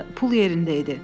Pul yerində idi.